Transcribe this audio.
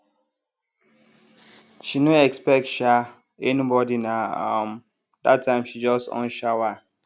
she no expect um anybody na um that time she just on shower